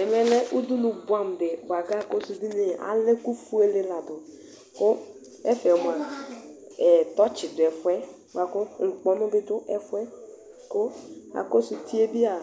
Ɛvɛlɛ ʋdʋnʋ bʋeamʋ di bʋakʋ akɔsʋ ʋdʋnʋe aa alɛ ɛkʋfuele ladʋ, kʋ ɛfɛ mʋa, tɔtsi dʋ ɛfʋɛ, bʋakʋ ikpɔnʋ bi dʋ ɛfʋɛ, kʋ akɔsʋ utie bi aa